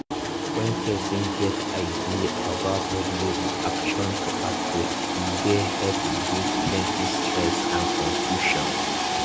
when person get ideas about public reaction to outbreak e dey help reduce plenty stress and confusion